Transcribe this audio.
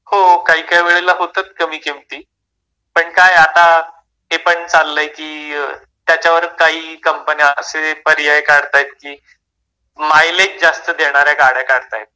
हो, काहीकाही वेळेला होतात कमी किमती. पण काय आहे आता, ते पण चाललंय की त्याच्यावर काही कंपन्या असे पर्याय काढतायेत की, मायलेज जास्त देणाऱ्या गाड्या काढतायेत.